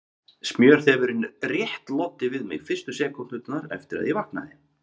Smjörþefurinn rétt loddi við mig fyrstu sekúndurnar eftir að ég vaknaði.